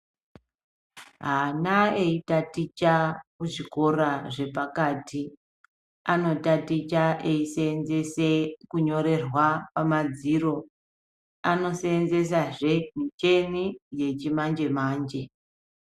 Ana eyi taticha ku zvikora zvepakati ano taticha eyi senzese kunyorerwa pa madziro ano senzesa zvee micheni yechi manje manje.